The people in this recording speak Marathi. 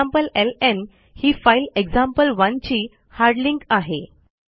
एक्झाम्प्लेलं ही फाईल एक्झाम्पल1 ची हार्ड लिंक आहे